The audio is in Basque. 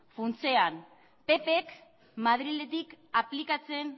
funtsean ppk madriletik aplikatzen